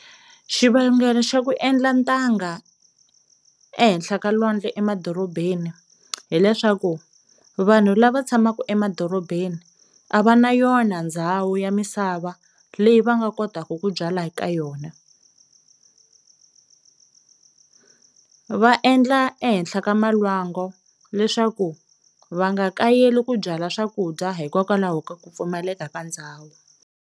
Xivangelo xa ku endla ntanga ehenhla ka lwandle emadorobeni hileswaku vanhu lava tshamaku emadorobeni a va na yona ndhawu ya misava leyi va nga kotaka ku byala eka yona, va endla ehenhla ka malwango leswaku va nga kayeli ku byala swakudya hikokwalaho ka ku pfumaleka ka ndhawu.